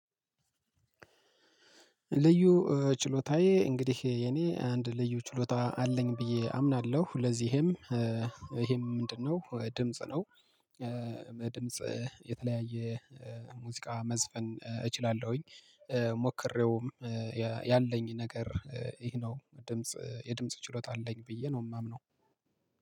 ልዩ ችሎታዬ እንግዲህ የኔ አንድ ልዩ ችሎታ አለኝ ብዬ አምናለሁ ለዚህም ይሄም ምንድነው ድምጽ ነው? ድምጽ የተለያየ ሙዚቃ መዝፈን እችላለሁኝ። ሞክሬውም ያለኝ ነገር ይሄ ነው ድምጽ የድምጽ ችሎታ አለኝ ብዬ ነው የማምነው